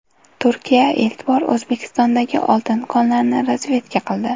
Turkiya ilk bor O‘zbekistondagi oltin konlarini razvedka qildi.